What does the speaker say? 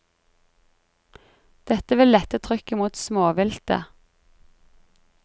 Det vil lette trykket mot småviltet.